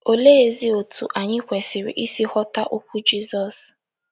Oleezi otú anyị kwesịrị isi ghọta okwu Jizọs?